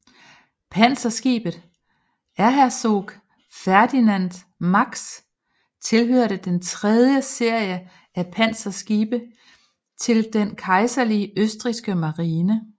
Panserskibet Erzherzog Ferdinand Max tilhørte den tredje serie af panserskibe til den kejserlige østrigske marine